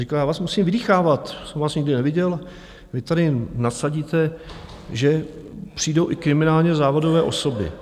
Říkal: Já vás musím vydýchávat, jsem vás nikdy neviděl, vy tady nasadíte, že přijdou i kriminálně závodové osoby.